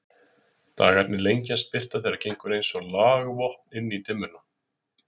Dagarnir lengjast, birta þeirra gengur eins og lagvopn inn í dimmuna.